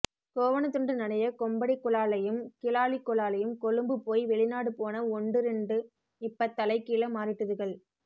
கோவணத்துண்டு நனைய கொம்படிக்குலாளையும் கிலாளிக்குலாளையும் கொழும்பு போய் வெளிநாடு போன ஒண்டு இரண்டு இப்ப தலை கீழ மாறிட்டுதுகள்